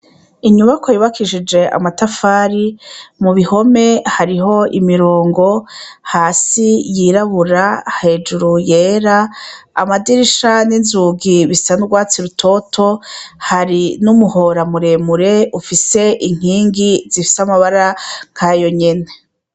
Inyubakwa yubakishije amatafari mu bihome hariho imirongo, hasi yirabura hejuru yera ,anadirisha n'inzugi bisa m'urwatsi rutoto, hari n'umuhora muremure ufise inkingi zifise amabara nk'ayo nyene.